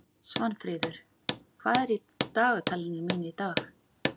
Svanfríður, hvað er í dagatalinu mínu í dag?